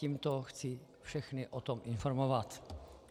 Tímto chci všechny o tom informovat.